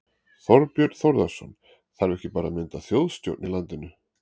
Þorbjörn Þórðarson: Þarf ekki bara að mynda þjóðstjórn í landinu?